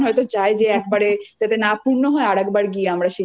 যেতে হবে ভগবান হয়ত যে চায় যে একবারে যাতে না